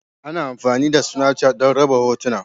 Ana amfani da Snafchat don raba hotuna.